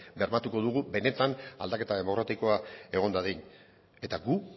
bermatuko dugu benetan aldaketa demokratikoa egon dadin eta gu